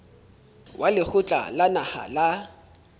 wa lekgotla la naha la